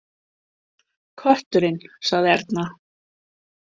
Kötturinn, sagði Erna.